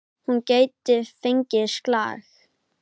Hún gæti fengið slag.